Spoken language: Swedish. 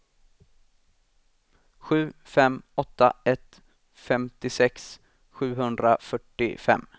sju fem åtta ett femtiosex sjuhundrafyrtiofem